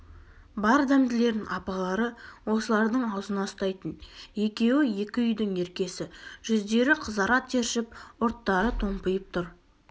бар дәмділерін апалары осылардың аузына ұстайтын екеуі екі үйдің еркесі жүздері қызара тершіп ұрттары томпиып тұр